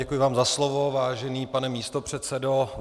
Děkuji vám za slovo, vážený pane místopředsedo.